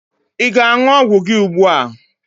Ị ga aṅụ ọgwụ gị ùgbúà?